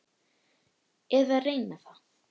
Eða reyna það.